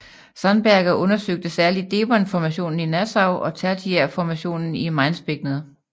Sandberger undersøgte særlig devonformationen i Nassau og tertiærformationen i Mainzbækkenet